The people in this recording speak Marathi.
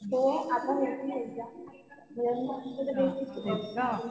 हो आता होतील एक्झाम. मध्ये तर बेसिक शिकवलं.